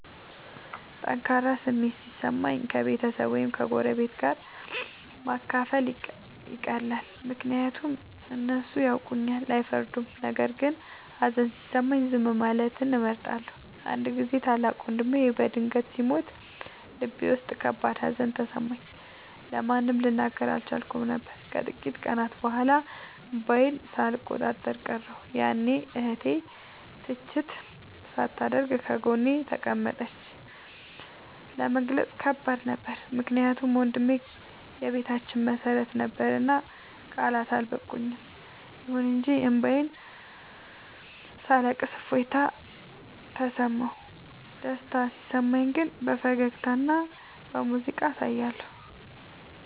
ጠንካራ ስሜት ሲሰማኝ ከቤተሰብ ወይም ከጎረቤት ጋር ማካፈል ይቀላል፤ ምክንያቱም እነሱ ያውቁኛልና አይፈርዱም። ነገር ግን ሀዘን ሲሰማኝ ዝም ማለትን እመርጣለሁ። አንድ ጊዜ ታላቅ ወንድሜ በድንገት ሲሞት ልቤ ውስጥ ከባድ ሀዘን ተሰማኝ፤ ለማንም ልናገር አልቻልኩም ነበር። ከጥቂት ቀናት በኋላ እንባዬን ሳልቆጣጠር ቀረሁ፤ ያኔ እህቴ ትችት ሳታደርግ ጎኔ ተቀመጠች። ለመግለጽ ከባድ ነበር ምክንያቱም ወንድሜ የቤታችን መሰረት ነበርና ቃላት አልበቁም። ይሁን እንጂ እንባዬን ሳለቅስ እፎይታ ተሰማሁ። ደስታ ሲሰማኝ ግን በፈገግታና በሙዚቃ አሳያለሁ።